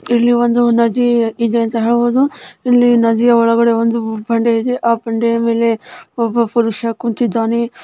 ಇಲ್ಲಿ ಒಂದು ನದಿ ಅಂತ ಹೇಳಬಹುದು ಇಲ್ಲಿ ನದಿಯ ಒಳಗಡೆ ಒಂದು ಬಂಡೆಯಿದೆ ಆ ಬಂಡೆಯ ಮೇಲೆ ಒಬ್ಬ ಪುರುಷ ಕುಂತಿದಾನೆ.